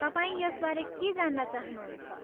तपाईँ यसबारे के जान्न चाहनुहुन्छ?